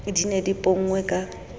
di ne di ponngwe ka